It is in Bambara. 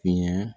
Fiɲɛ